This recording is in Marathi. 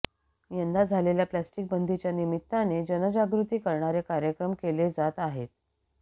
यंदा झालेल्या प्लास्टिकबंदीच्या निमित्तानं जनजागृती करणारे कार्यक्रम केले जात आहेत